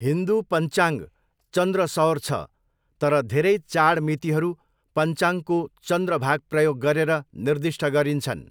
हिन्दू पञ्चाङ्ग चन्द्र सौर छ तर धेरै चाड मितिहरू पञ्चाङ्गको चन्द्र भाग प्रयोग गरेर निर्दिष्ट गरिन्छन्।